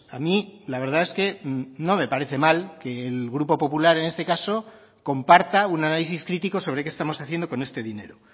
a mí la verdad es que no me parece mal que el grupo popular en este caso comparta un análisis crítico sobre qué estamos haciendo con este dinero